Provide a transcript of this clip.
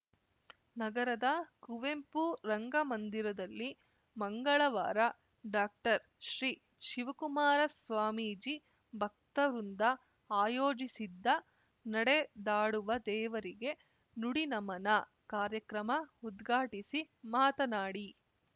ನಗರದ ಕುವೆಂಪು ರಂಗಮಂದಿರದಲ್ಲಿ ಮಂಗಳವಾರ ಡಾಕ್ಟರ್ ಶ್ರೀ ಶಿವಕುಮಾರ ಸ್ವಾಮೀಜಿ ಭಕ್ತವೃಂದ ಆಯೋಜಿಸಿದ್ದ ನಡೆದಾಡುವ ದೇವರಿಗೆ ನುಡಿನಮನ ಕಾರ್ಯಕ್ರಮ ಉದ್ಘಾಟಿಸಿ ಮಾತನಾಡಿ